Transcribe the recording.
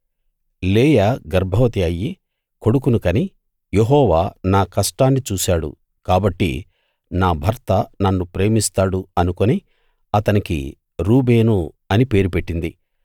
లేయా గర్భవతి అయ్యి కొడుకును కని యెహోవా నా కష్టాన్నిచూశాడు కాబట్టి నా భర్త నన్ను ప్రేమిస్తాడు అనుకుని అతనికి రూబేను అని పేరు పెట్టింది